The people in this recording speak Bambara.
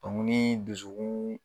nii dusukuun